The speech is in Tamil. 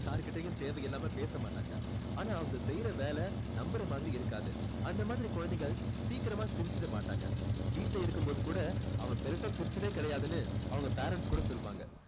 யார் கிட்டயும் தேவை இல்லாம பேச மாட்டாங்க ஆனா அவங்க செய்ற வேலை நம்புற மாதிரி இருக்காது அந்த மாதிரி குழந்தைகள் சீக்கிரமா சிரிச்சுட மாட்டாங்க வீட்டுல இருக்கும் போது கூட அவன் பெருசா சிரிச்சதே கிடையாதுன்னு அவங்க parents கூட சொல்லுவாங்க